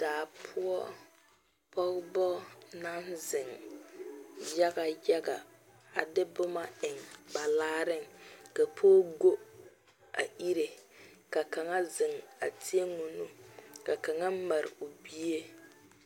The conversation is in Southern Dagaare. Daa poʊ, pogeba na zeŋ yaga yaga. A de boma eŋ ba laareŋ. Ka poge goɔ a ireɛ, ka kang zeŋ a teɛ o nu, ka kang mare o bie.